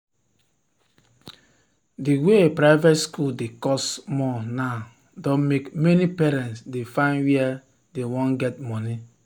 the way private school dey cost more now don make many parents dey find were dey wan get money